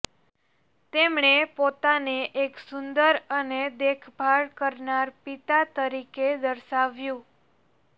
તેમણે પોતાને એક સુંદર અને દેખભાળ કરનાર પિતા તરીકે દર્શાવ્યું